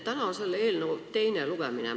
Täna on selle eelnõu teine lugemine.